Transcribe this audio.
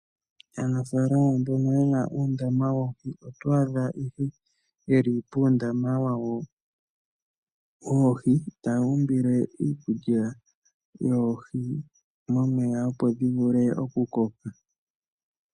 Aanafalama mbono ye na uundama woohi oto adha ihe ye li puundama wawo woohi taya umbile iikulya yoohi momeya, opo dhi vule oku koka.